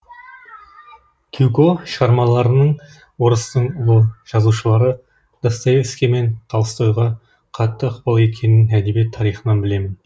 гюго шығармаларының орыстың ұлы жазушылары достоевский мен толстойға қатты ықпал еткенін әдебиет тарихынан білемін